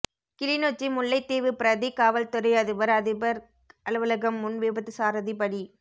கிளிநொச்சி முல்லைத்தீவு பிரதி காவல்துறை அதிபர் அதிபர் அலுவலகம் முன் விபத்து சாரதி பலி